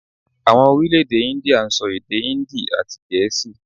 Àwon Orílèdè Índíà n sọ èdè Híndì àti èdè gèésì